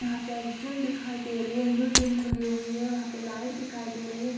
यहां पे एक जिम दिखाई दे रही है न्यू जिम खुली हुई है वहां पे लाइट दिखाई दे रही है।